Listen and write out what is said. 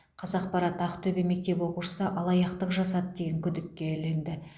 қазақпарат ақтөбеде мектеп оқушысы алаяқтық жасады деген күдікке ілікті